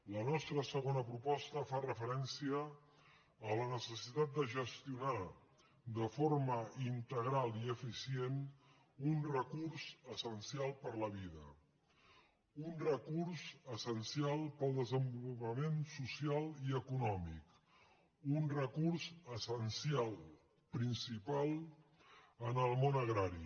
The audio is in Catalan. la nostra segona proposta fa referència a la necessi·tat de gestionar de forma integral i eficient un recurs essencial per a la vida un recurs essencial per al des·envolupament social i econòmic un recurs essencial principal en el món agrari